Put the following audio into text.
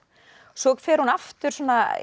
svo fer hún aftur